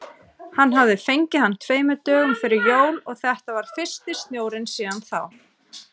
Hann hafði fengið hann tveimur dögum fyrir jól og þetta var fyrsti snjórinn síðan þá.